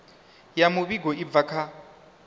ya muvhigo i bvaho kha